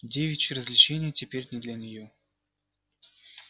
девичьи развлечения теперь не для неё